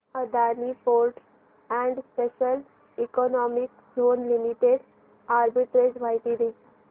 Adani ports and special economic zone limited arbitrage माहिती दे